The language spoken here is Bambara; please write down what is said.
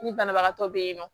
Ni banabagatɔ bɛ yen nɔ